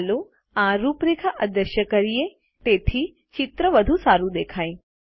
ચાલો આ રૂપરેખા અદ્રશ્ય કરીએ તેથી ચિત્ર વધુ સારું દેખાય